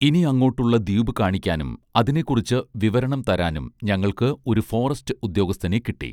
ഇനി അങ്ങോട്ടുള്ള ദ്വീപ് കാണിക്കാനും അതിനെക്കുറിച്ച് വിവരണം തരാനും ഞങ്ങൾക്ക് ഒരു ഫോറസ്റ്റ് ഉദ്യോഗസ്ഥനെ കിട്ടി